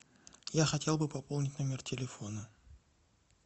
я хотел бы пополнить номер телефона